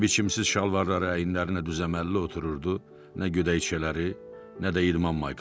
Nə biçimsiz şalvarları əyinlərinə düz-əməlli otururdu, nə gödəkçələri, nə də idman maykaları.